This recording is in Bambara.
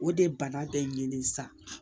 O de ye bana bɛɛ de ye sa